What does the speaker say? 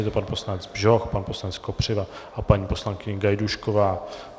Je to pan poslanec Bžoch, pan poslanec Kopřiva a paní poslankyně Gajdůšková.